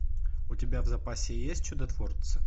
у тебя в запасе есть чудотворцы